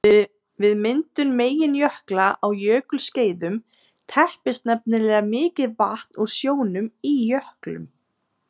Við myndun meginjökla á jökulskeiðum teppist nefnilega mikið vatn úr sjónum í jöklum.